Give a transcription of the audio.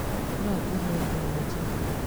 No ngũhe thimũ njerũ